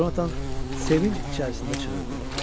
Conatan sevinc içərisində çığırdı.